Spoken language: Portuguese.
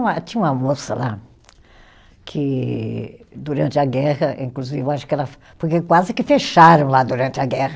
Tinha uma moça lá que, durante a guerra, inclusive eu acho que ela. Porque quase que fecharam lá durante a guerra.